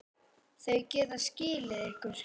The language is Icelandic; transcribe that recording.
Þau geta skilið ykkur.